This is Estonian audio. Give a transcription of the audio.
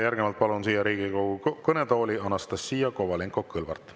Järgnevalt palun siia Riigikogu kõnetooli Anastassia Kovalenko-Kõlvarti.